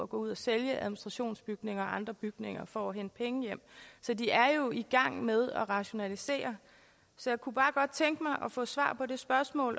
gå ud og sælge administrationsbygninger og andre bygninger for at hente penge hjem så de er jo i gang med at rationalisere jeg kunne bare godt tænke mig at få svar